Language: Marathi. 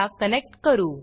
ला कनेक्ट करू